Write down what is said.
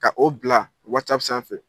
Ka o bila wasapu sanfɛ fɛ